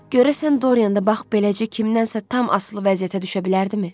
Görəsən Doryan da bax beləcə kimdənsə tam asılı vəziyyətə düşə bilərdimi?